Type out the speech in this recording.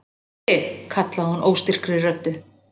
Týri! kallaði hún óstyrkri röddu.